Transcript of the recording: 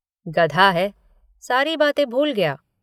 गधा है सारी बातें भूल गया।